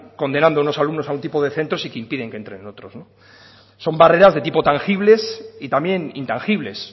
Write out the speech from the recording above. condenando a unos alumnos a un tipo de centros y que impiden que entren en otros son barreras de tipo tangibles y también intangibles